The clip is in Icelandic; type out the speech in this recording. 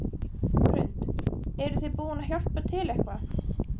Hrund: Eruð þið búin að hjálpa til eitthvað?